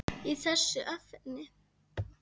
í þessu efni.